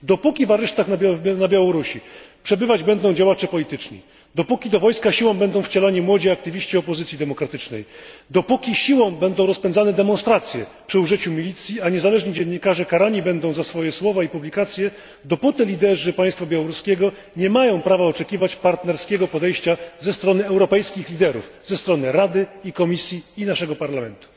Dopóki w aresztach na Białorusi przebywać będą działacze polityczni, dopóki do wojska siłą będą wcielani młodzi aktywiści opozycji demokratycznej, dopóki siłą będą rozpędzane demonstracje przy użyciu milicji, a niezależni dziennikarze będą karani za swoje słowa i publikacje, dopóty liderzy państwa białoruskiego nie mają prawa oczekiwać partnerskiego podejścia ze strony europejskich liderów, ze strony Rady, Komisji i naszego Parlamentu.